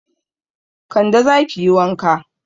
Kande, za ki yi wanka.